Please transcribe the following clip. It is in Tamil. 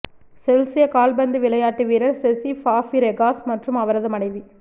செல்சியா கால்பந்து விளையாட்டு வீரர் செசி ஃபபிரெகாஸ் மற்றும் அவரது மனைவி